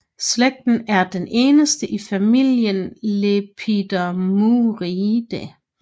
Slægten er den eneste i familien Lepilemuridae